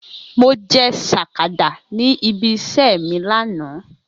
Mo je sakada ni ibi ise mi lana.